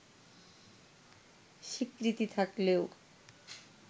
স্বীকৃতি থাকলেও